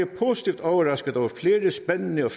positivt overrasket over flere spændende og